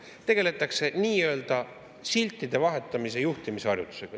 Tegeletakse nii-öelda siltide vahetamise juhtimise harjutusega.